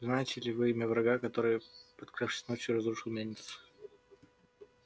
знаете ли вы имя врага который подкравшись ночью разрушил мельницу